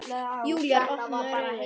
Júlía opnar augun.